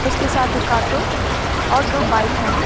उसके साथ एक ऑटो और दो बाइक हैं।